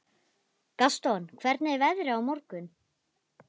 Gaston, hvernig er veðrið á morgun?